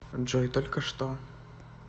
джой только что